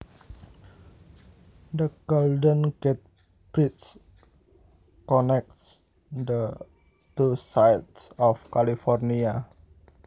The Golden Gate Bridge connects the two sides of California